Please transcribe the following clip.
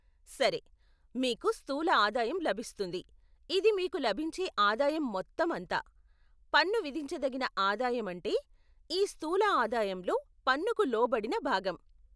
సరే, మీకు స్థూల ఆదాయం లభిస్తుంది, ఇది మీకు లభించే ఆదాయం మొత్తం అంతా, పన్ను విధించదగిన ఆదాయం అంటే ఈ స్థూల ఆదాయంలో పన్నుకు లోబడిన భాగం.